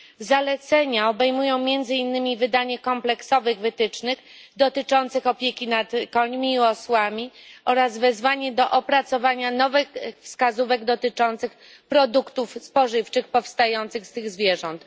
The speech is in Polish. Zalecenia obejmują między innymi wydanie kompleksowych wytycznych w zakresie opieki nad końmi i osłami oraz opracowanie nowych wskazówek dotyczących produktów spożywczych wytwarzanych z tych zwierząt.